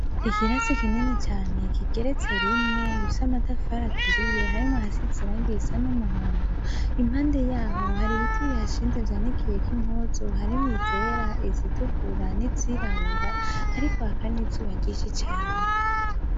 Ikirasi kinini cane kigeretse rimwe, gifise amatafari aturiye, harimwo ahasize irangi risa n'umuhondo, impande y'aho hari ibiti bihashinze vyanikiyeko impuzu, harimwo izera, izitukura n'izirabura; hariko haka n'izuba ryinshi cane.